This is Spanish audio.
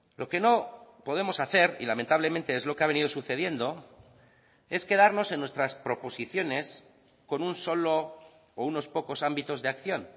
lo que no podemos hacer y lamentablemente es lo que ha venido sucediendo es quedarnos en nuestras proposiciones con un solo o unos pocos ámbitos de acción